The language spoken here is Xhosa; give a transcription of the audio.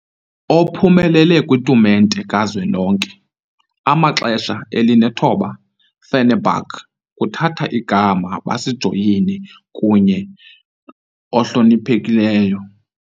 Ophumelele lo kwitumente kazwelonke amaxesha elinethoba, Fenerbahçe kuthatha igama basijoyine kunye ohlonephekileyo.